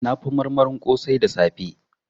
Na fi marmarin kosai da safe